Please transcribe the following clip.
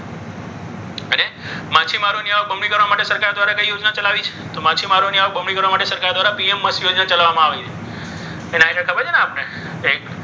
માછીમારોની આવક બમણી કરવા માટે સરકારે દ્વારા કઈ યોજના ચાલુ કરવામાં આવી છે? તો માછીમારોની આવક બમણી કરવા માટે સરકાર દ્વારા પીએમ મત્સ્ય યોજના ચલાવવામાં આવી છે.